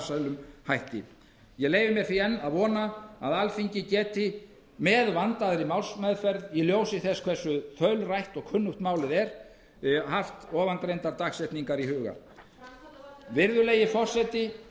þessi ríki ég leyfi mér því að mælast til þess virðulegi forseti að alþingi freisti þess án þess að það komi niður á vandaðri málsmeðferð að hraða afgreiðslu málsins og hafi áðurnefndar dagsetningar í huga virðulegi forseti